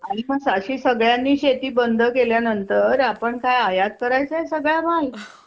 आणि सगळ्यांनी शेती बंद केल्यानंतर तर आपण काय आयात करायचा सगळा माल?